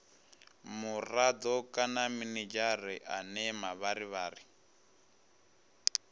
murado kana minidzhere ane mavharivhari